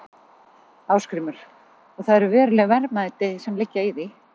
Ásgrímur: Og það eru veruleg verðmæti sem liggja í því?